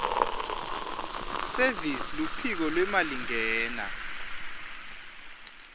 service luphiko lwemalingena